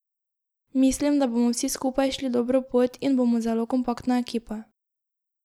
Mislim, da bomo vsi skupaj šli dobro pot in bomo zelo kompaktna ekipa.